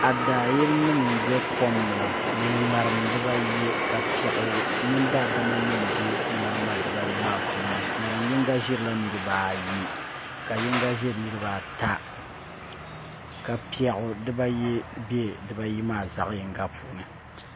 Adaa yili nim n bɛ kom ni ni ŋarima dibaayi ka piɛɣu mini daadama nim bɛ ŋarima maa puuni ŋarim yinga ʒirila niraba ayi ka yinga ʒiri niraba ata ka piɛɣu dibayi bɛ dibayi maa zaɣ yinga puuni